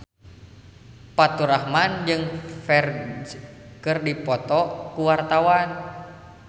Faturrahman jeung Ferdge keur dipoto ku wartawan